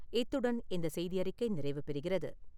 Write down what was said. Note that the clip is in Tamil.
இத்துடன் இந்த செய்தி அறிக்கை நிறைவு பெறுகிறது.